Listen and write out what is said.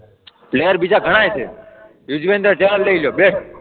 player બીજા ઘણાય છે, યુઝવેન્દ્ર ચહલ લઈ લો, બેસ્ટ